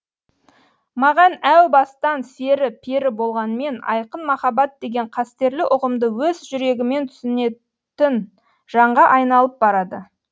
маған әу бастан сері пері болғанмен айқын махаббат деген қастерлі ұғымды өз жүрегімен түсінетін жанға айналып барады